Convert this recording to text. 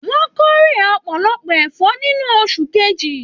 Wọn k'ore ọpọlọpọ ẹfọ nínú oṣù kejì.